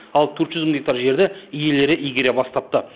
ал төрт жүз мың гектар жерді иелері игере бастапты